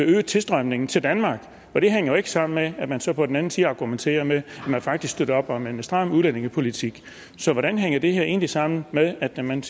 øge tilstrømningen til danmark og det hænger jo ikke sammen med at man så på den anden side argumenterer med at man faktisk støtter op om en stram udlændingepolitik så hvordan hænger det her egentlig sammen med at man